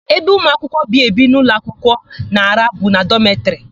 Ebe ụmụakwụkwọ bi ebi n'ụlọakwụkwọ na-araha bụ na dọmetịrị.